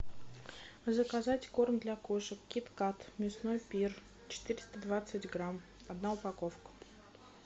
заказать корм для кошек кит кат мясной пир четыреста двадцать грамм одна упаковка